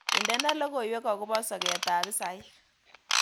Indene logoywek agoba soketab hisaik